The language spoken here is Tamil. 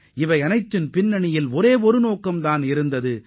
அமைதியை ஏற்படுத்த வேண்டும் என்பதுதான் ஒரே நோக்கமாக இருந்தது